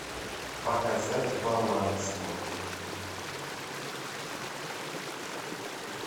показать баланс мой